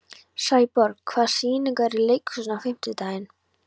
Sæborg, hvaða sýningar eru í leikhúsinu á fimmtudaginn?